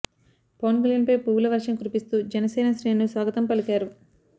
పవన్ కల్యాణ్పై పువ్వుల వర్షం కురిపిస్తూ జనసేన శ్రేణులు స్వాగతం పలికారు